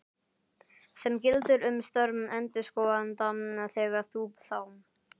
sem gildir um störf endurskoðanda þegar bú, þám.